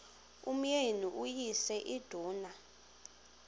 umyeni uyise iduna